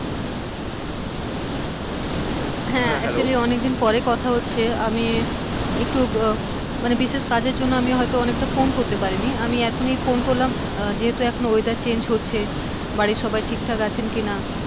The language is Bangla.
হ্যাঁ actually অনেকদিন পরে কথা হচ্ছে আমি একটু উম বিশেষ কাজের জন্য হয়তো অনেকটা ফোন করতে পারি নি, আমি এখন ই ফোন করলাম যেহেতু এখন weather change হচ্ছে বাড়ির সবাই ঠিকঠাক আছেন কিনা?